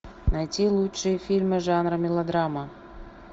найти лучшие фильмы жанра мелодрама